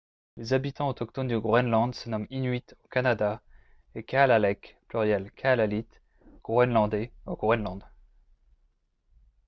les habitants autochtones du groenland se nomment inuit au canada et kalaalleq pluriel kalaallit groenlandais au groenland